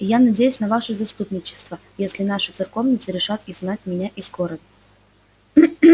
и я надеюсь на ваше заступничество если наши церковницы решат изгнать меня из города